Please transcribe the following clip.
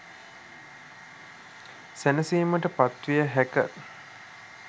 සැනසීමට පත්විය හැක.